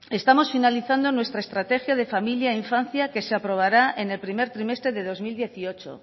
estamos finalizando nuestra estrategia de familia e infancia que se aprobará en el primer trimestre de dos mil dieciocho